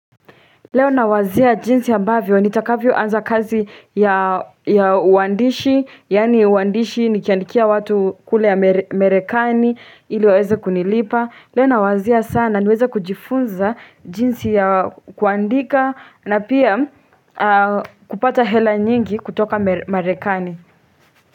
Leo nawazia jinsi ambavyo nitakavyoanza kazi ya uandishi yaani uandishi nikiandikia watu kule marekani ili waweze kunilipa leo nawazia sana niweze kujifunza jinsi ya kuandika na pia kupata hela nyingi kutoka marekani.